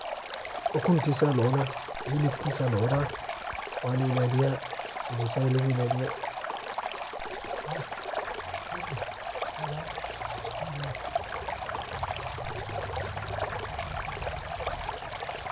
Ukuntisa lacuna, hilibkisa lacuna wa la ilaliya busay laga ilaliya.